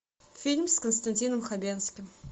фильм с константином хабенским